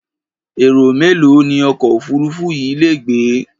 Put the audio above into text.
Èrò mélòó ni ọkọ̀ òfuururú yìí lè gbé?